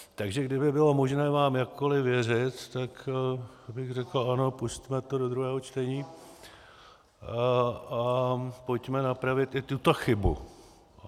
Takže kdyby bylo možné vám jakkoliv věřit, tak bych řekl ano, pusťme to do druhého čtení a pojďme napravit i tuto chybu.